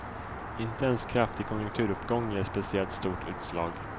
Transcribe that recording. Inte ens kraftig konjunkturuppgång ger speciellt stort utslag.